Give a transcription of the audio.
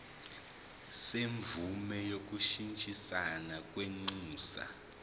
semvume yokushintshisana kwinxusa